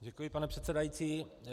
Děkuji, pane předsedající.